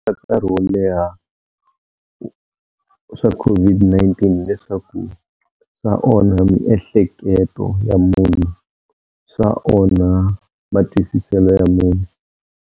karhi wo leha swa COVID-19 leswaku swa onha miehleketo ya munhu, swa onha matwisiselo ya munhu.